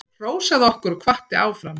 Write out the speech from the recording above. Hrósaði okkur og hvatti áfram.